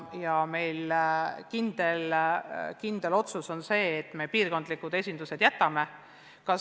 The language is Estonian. Oleme teinud kindla otsuse, et me piirkondlikud esindused jätame alles.